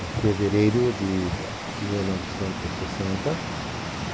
Em fevereiro de mil novecentos e sessenta.